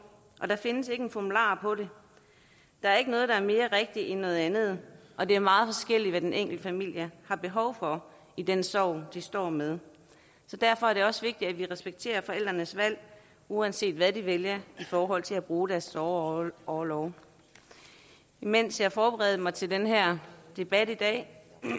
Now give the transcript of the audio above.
og der findes ikke en formular for det der er ikke noget der er mere rigtigt end noget andet og det er meget forskelligt hvad den enkelte familie har behov for i den sorg de står med derfor er det også vigtigt at vi respekterer forældrenes valg uanset hvad de vælger i forhold til at bruge deres sorgorlov mens jeg forberedte mig til den her debat i dag